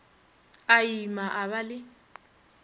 a ima a ba le